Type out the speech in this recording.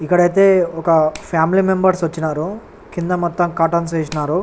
ఇక్కడైతే ఓక family members ఒచినారు కింద మొత్తం కార్టైన్స్ వేసినారు.